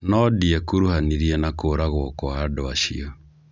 No ndĩekuruhanirie na kũragwo kwa andũ acio.